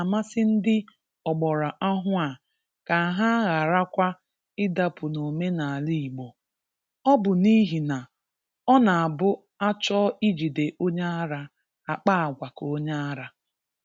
Ọ ga-amasị ndị ogbara ọhụụ a ka ha gharakwa ịdapụ n'omenala Igbo. Ọ bụ n'ihi na ọ na-abụ a chọọ ijide onye ara, a kpaa àgwà ka onye ara.